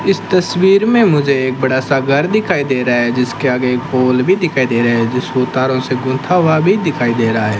इस तस्वीर में मुझे एक बड़ा सा घर दिखाई दे रहा है जिसके आगे एक पोल भी दिखाई दे रहा है जिसको तारों से गूंथा हुआ भी दिखाई दे रहा है।